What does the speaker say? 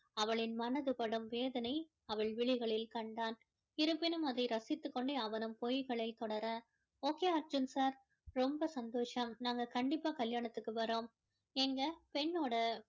அவளின் மனது படும் வேதனை அவள் விழிகளில் கண்டான் இருப்பினும் அதை ரசித்து கொண்டே அவனும் பொய்களை தொடர okay அர்ஜுன் sir ரொம்ப சந்தோஷம் நாங்க கண்டிப்பா கல்யாணத்துக்கு வர்றோம் ஏங்க பெண்ணோட